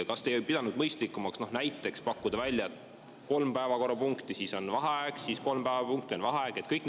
Kas te ei pidanud mõistlikumaks näiteks pakkuda välja, et on kolm päevakorrapunkti, siis on vaheaeg, siis on kolm päevakorrapunkti, on vaheaeg ja nii edasi?